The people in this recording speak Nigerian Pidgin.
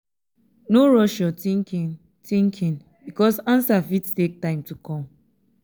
no rush yur thinking thinking bikos ansa fit take time to kom